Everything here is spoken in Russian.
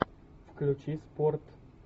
включи спорт